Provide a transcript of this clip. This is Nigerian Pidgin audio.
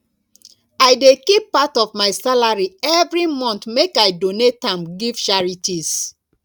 i dey keep part of my salary every month make i donate am give charities